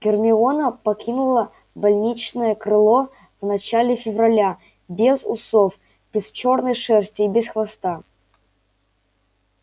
гермиона покинула больничное крыло в начале февраля без усов без чёрной шерсти и без хвоста